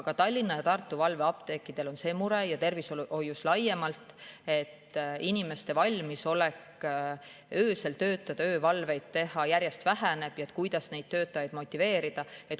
Ka Tallinna ja Tartu valveapteekidel on see mure ja see on tervishoius laiemalt, et kuna inimeste valmisolek öösel töötada, öövalveid teha järjest väheneb, siis kuidas neid töötajaid motiveerida.